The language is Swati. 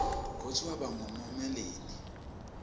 kutsi waba nqumonqsmelinini